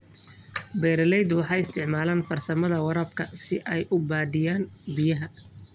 Beeraleydu waxay isticmaalaan farsamada waraabka si ay u badbaadiyaan biyaha.